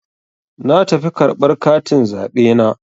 Na tafi karɓar katin zaɓe na.